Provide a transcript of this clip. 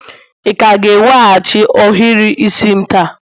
ị ka ga-eweghachi ohiri isi'm taa?